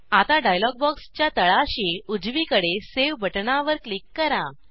आता डायलॉग बॉक्सच्या तळाशी उजवीकडे सावे बटणावर क्लिक करा